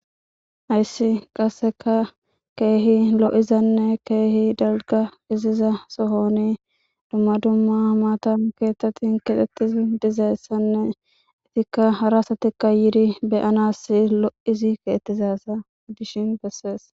Haysi qaseka kehi lo'izane kehi dalga gidiza Sohoni duma duma mata kethati kexetizi dizaysane etika hara asatika yiri be'anasi lo'zi kexetizaysa gidishin beses.